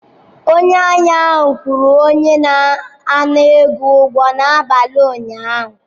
Onye ahịa ahụ kwụrụ onye na-ana ego ụgwọ ya n'abalị ụnyaahụ.